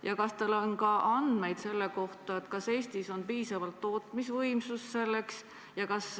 Ja kas teil on andmeid selle kohta, kas Eestis on piisavalt tootmisvõimsust selleks?